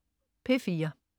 P4: